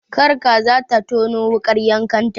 Kar kaza ta tono wuƙar yanka ta.